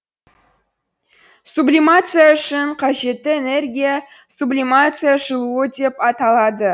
сублимация үшін қажетті энергия сублимация жылуы деп аталады